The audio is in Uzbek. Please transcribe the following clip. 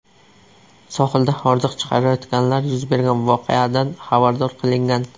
Sohilda hordiq chiqarayotganlar yuz bergan voqeadan xabardor qilingan.